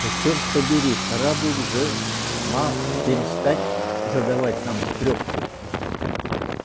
да чёрт побери пора бы уже ма перестать задавать нам трёпку